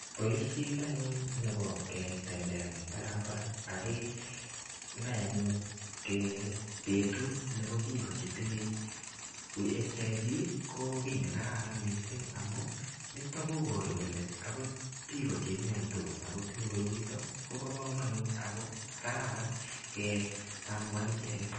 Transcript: Boishet anyun nebo ketembean en barabara ak kenai anyun betut nebo bik chetinye HIV ko kii nekararan amun niton ko oru kole akot bik chemiondos ako tinye koroiton Kobo komonut ako kararan ketambua icheket.